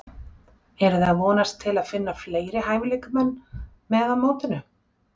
Eruði að vonast til að finna fleiri hæfileikamenn með á mótinu?